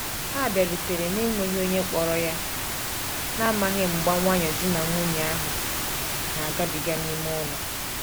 Ha biarutere na-enweghi onye kporo ya, na amaghi mgba nwayo di na nwunye ahu na agabiga n'ime ụlọ.